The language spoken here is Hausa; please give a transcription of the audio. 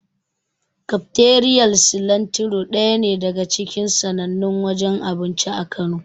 Kafiteriyar Silantiro daya ne daga cikin sannannun wajen abinci a Kano.